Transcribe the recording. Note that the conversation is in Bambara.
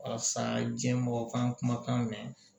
A sa diɲɛ mɔgɔ kan kuma kan mɛ